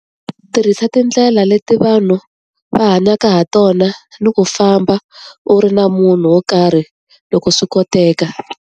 Tirhisa tindlela leti vanhu va hanyaka ha tona, ni ku famba u ri na munhu wo karhi loko swi koteka.